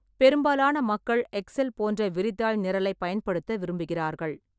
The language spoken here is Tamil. பெரும்பாலான மக்கள் எக்செல் போன்ற விரிதாள் நிரலைப் பயன்படுத்த விரும்புகிறார்கள்.